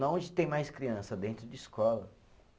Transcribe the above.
Na onde tem mais criança dentro de escola.